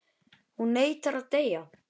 Hún neitar að deyja.